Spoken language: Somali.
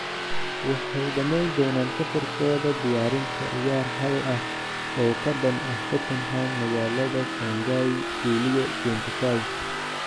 "Waxay dhammayn doonaan safarkooda diyaarinta ciyaar hal ah oo ka dhan ah Tottenham magaalada Shanghai Luliyo 25."